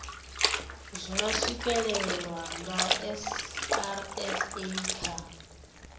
zwa swikelelwa nga srsa kha